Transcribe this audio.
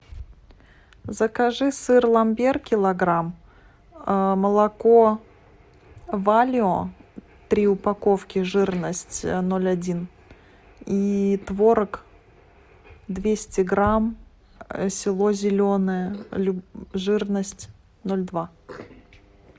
закажи сыр ламбер килограмм молоко валио три упаковки жирность ноль один и творог двести грамм село зеленое жирность ноль два